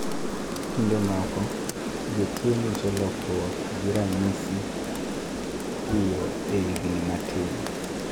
Kinde moko, jotuo nyiso lokruok gi ranyisi piyo e higni matin